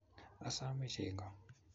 Asome chego